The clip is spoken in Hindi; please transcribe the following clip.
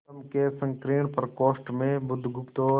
स्तंभ के संकीर्ण प्रकोष्ठ में बुधगुप्त और